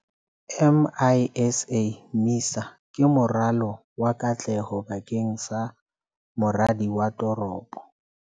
MISA ke moralo wa katleho bakeng sa moradi wa toropo.